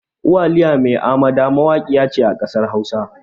Uwaliya mai amada mawaƙiya ce a ƙasar hausa